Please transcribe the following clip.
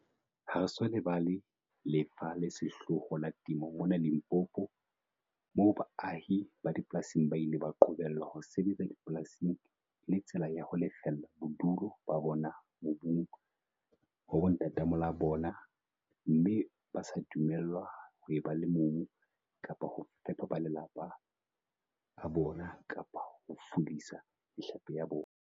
"Ha re so lebala lefa le sehloho la temo mona Limpopo, moo baahi ba dipolasing ba ileng ba qobellwa ho sebetsa dipolasing e le tsela ya ho lefella bodulo ba bona mobung wa bontatamoholo ba bona, mme ba sa dumellwa ho eba le mobu kapa ho fepa ba malapa a bona kapa ho fulisa mehlape ya bona."